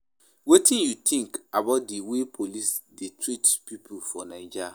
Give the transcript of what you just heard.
wetin you think about di way police dey treat people for Naija?